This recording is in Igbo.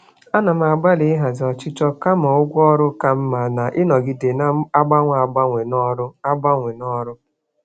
Ana m agbalị ịhazi ọchịchọ maka ụgwọ ọrụ ka mma na ịnọgide na-agbanwe agbanwe n'ọrụ. agbanwe n'ọrụ.